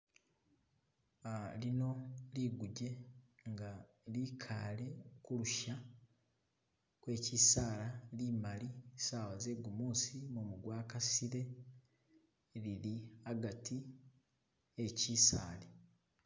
Lino liguje nga likaale kulusha kwe chisaala limali saawa ze'gumuusi mumu gwakasile lili hagati he chisaali.